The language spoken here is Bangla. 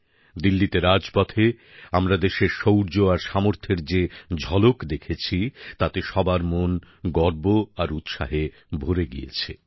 দিল্লীর রাজপথে আমরা দেশের শৌর্য আর সামর্থ্যের যে ঝলক দেখেছি তাতে সবার মন গর্ব আর উৎসাহে ভরে উঠেছে